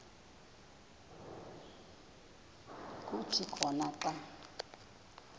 kuthi khona xa